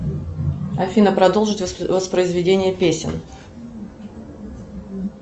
афина продолжить воспроизведение песен